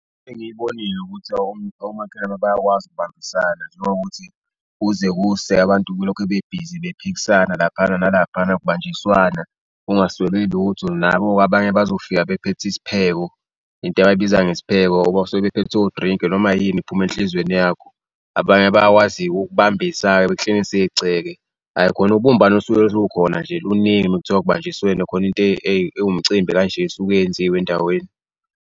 Engiyibonile ukuthi omakhelwane bayakwazi ukubambisana njengokuthi kuze kuse abantu kulokhe bebhizi bephikisana laphana nalaphana kubanjiswana, kungaswelwe lutho. Nabo-ke abanye bazofika bephethe isipheko, into abayibiza ngesipheko, basuke bephethe odrink-i, noma yini ephuma enhlizweni yakho. Abanye bayakwazi-ke ukukubambisa-ke bekuklinise igceke, hhayi khona ubumbano lusuke lukhona nje luningi mekuthuwa kubanjiswene khona into ewumcimbi kanje esuke yenziwe endaweni.